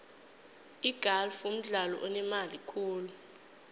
igalfu mdlalo onemali khulu